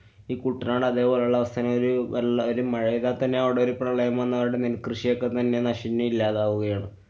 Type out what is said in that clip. ഈ കുട്ടനാട് അതേപോലുള്ള അവസ്ഥനെ ഒരു വെള്ള~ ഒരു മഴെയ്താ തന്നെ അവിടൊരു പ്രളയം വന്നു അവരുടെ നെല്‍ കൃഷിയൊക്കെ തന്നെ നശിഞ്ഞ് ഇല്ലാതാവുകയാണ്.